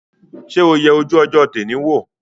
Ṣé o yẹ ojú ọjọ́ tẹ́nì wò?